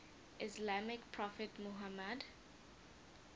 islamic prophet muhammad